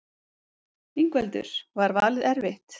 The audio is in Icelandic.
Ingveldur: Var valið erfitt?